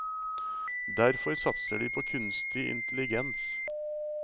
Derfor satser de på kunstig intelligens.